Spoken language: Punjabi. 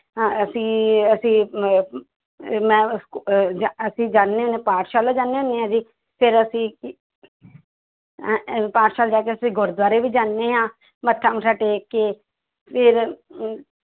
ਅਹ ਅਸੀਂ ਅਸੀਂ ਅਹ ਮੈਂ ਅਹ ਜਾ ਅਸੀਂ ਜਾਂਦੇ ਹੁੰਦੇ ਹਾਂ ਪਾਠਸ਼ਾਲਾ ਜਾਂਦੇ ਹੁੰਦੇ ਹਾਂ ਅਸੀਂ ਫਿਰ ਅਸੀਂ ਅਹ ਅਹ ਪਾਠਸ਼ਾਲਾ ਜਾ ਕੇ ਅਸੀਂ ਗੁਰਦੁਆਰੇ ਵੀ ਜਾਂਦੇ ਹਾਂ ਮੱਥਾ ਮੁੱਥਾ ਟੇਕ ਕੇ ਫਿਰ ਅਮ